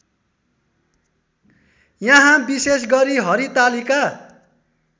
यहाँ विषेशगरी हरितालिका